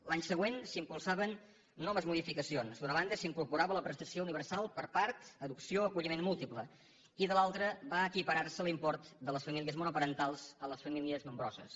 l’any següent s’impulsaven noves modificacions d’una banda s’incorporava la prestació universal per a parts adopció o acolliment múltiple i de l’altra va equipararse l’import de les famílies monoparentals amb les famílies nombroses